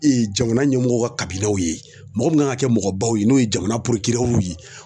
jamana ɲɛmɔgɔw ka ye mɔgɔ min kan ka kɛ mɔgɔbaw ye n'o ye jamana ye.